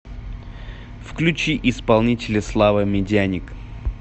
включи исполнителя слава медяник